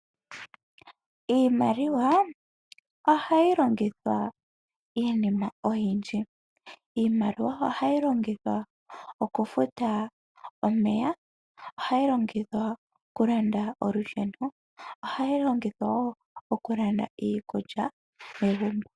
Iimaliwa ohayi longithwa iinima oyindji. Iimaliwa ohayi longithwa oku futa omeya. Ohayi longithwa oku landa olusheno, ohayi longithwa oku woo oku landa iikulya megumbo.